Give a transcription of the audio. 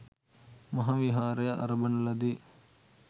මහා විහාරය අරඹන ලදී